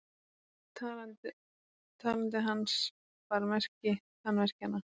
Talandi hans bar merki tannverkjanna.